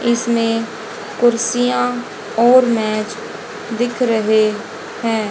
इसमें कुर्सियां और मेज दिख रहे हैं।